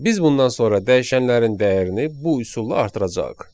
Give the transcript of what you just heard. Biz bundan sonra dəyişənlərin dəyərini bu üsulla artıracağıq.